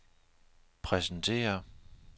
præsentere